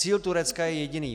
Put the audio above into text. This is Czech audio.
Cíl Turecka je jediný.